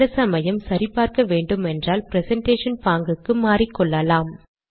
சில சமயம் சரி பார்க்க வேண்டுமானால் பிரசன்டேஷன் பாங்குக்கு மாறிக்கொள்ளலாம்